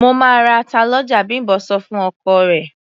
"Mo máa ra ata lọ́jà", Bím̀bọ́ sọ fún ọkọ rẹ̀.